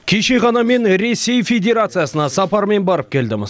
кеше ғана мен ресей федерациясына сапармен барып келдім